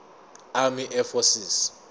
army air forces